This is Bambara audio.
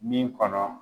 Min kɔnɔ